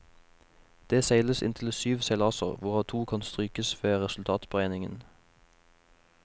Det seiles inntil syv seilaser, hvorav to kan strykes ved resultatberegningen.